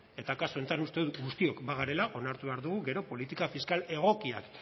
eta kasu honetan uste dut guztiok bagarela onartu behar dugu gero politika fiskal egokiak